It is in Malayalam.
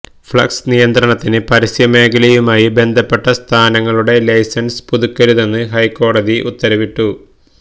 ഫ്ളക്സ് നിയന്ത്രണത്തിന് പരസ്യമേഖലയുമായി ബന്ധപ്പെട്ട സ്ഥാപനങ്ങളുടെ ലൈസന്സ് പുതുക്കരുതെന്ന് ഹൈക്കോടതി ഉത്തരവിട്ടു